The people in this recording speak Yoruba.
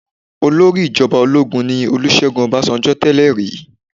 Olórí ìjọba ológun ní Olúṣẹ́gun Ọbásanjọ́ tẹ́lè rí.